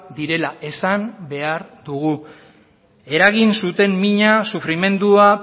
direla esan behar dugu eragin zuten mina sufrimendua